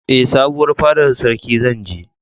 Ee, sabuwar fadar sarkin zan je.